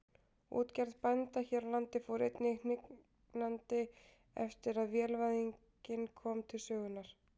Útgerð bænda hér á landi fór einnig hnignandi eftir að vélvæðingin kom til sögunnar.